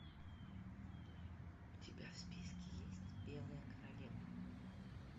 у тебя в списке есть белая королева